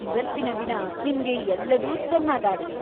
ಇವತ್ತಿನ ದಿನ ನಿಮ್ಗೆ ಎಲ್ಲದೂ ಚೆನ್ನಾಗಾಗ್ಲಿ!